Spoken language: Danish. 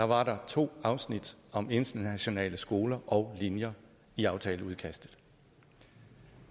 var der to afsnit om internationale skoler og linjer i aftaleudkastet